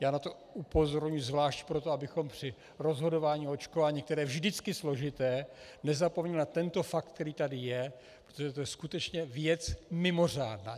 Já na to upozorňuji zvlášť proto, abychom při rozhodování o očkování, které je vždycky složité, nezapomněli na tento fakt, který tady je, protože je to skutečně věc mimořádná.